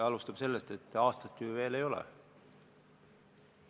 Alustama peaks sellest, et aasta ju veel möödas ei ole.